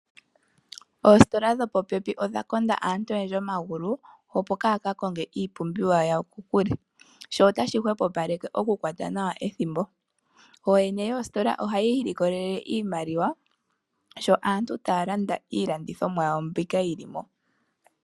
Ostola dho popepi odha konda aantu oyendji omagulu opo kaa kakonge iipumbiwa yawo kokule sho otashi hopopaleke okukwata nawa ethimbo oyene yoostola ohayi likolele iimaliwa sho aantu talanda iilandithonwa yawo mbika yili mo.